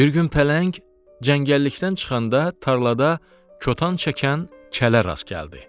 Bir gün pələng cəngəllikdən çıxanda tarlada kotan çəkən kələ rast gəldi.